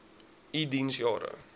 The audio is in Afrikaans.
u diens jare